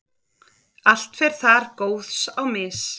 allt fer þar góðs á mis.